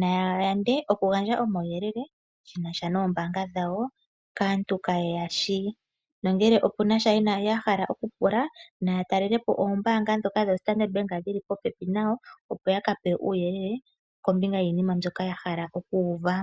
Naya yande okugandja omauyelele ge na sha noombaanga dhawo kaantu kaa ye ya shi, nongele opu na sha ya hala okupula naa talelepo oombaanga ndhoka dhoStandard Bank dhi li popepi nayo, opo ya ka pewe uuyelele kombinga yiinima mbyoka ya hala oku uva.